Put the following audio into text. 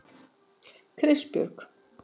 Kristbjörg